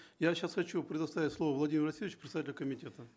я сейчас хочу предоставить слово владимиру васильевичу представителю комитета